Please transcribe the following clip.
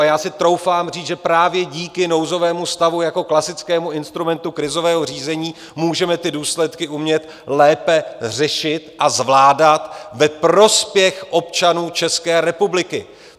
A já si troufám říct, že právě díky nouzovému stavu jako klasickému instrumentu krizového řízení můžeme ty důsledky umět lépe řešit a zvládat ve prospěch občanů České republiky.